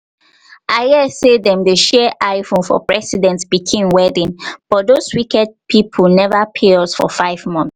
i hear say hear say dem share iphone for president pikin wedding but doz wicked people never pay us for five months